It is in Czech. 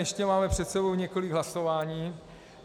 Ještě máme před sebou několik hlasování.